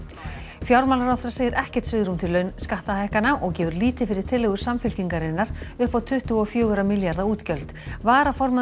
fjármálaráðherra segir ekkert svigrúm til skattahækkana og gefur lítið fyrir tillögur Samfylkingarinnar upp á tuttugu og fjóra milljarða útgjöld varaformaður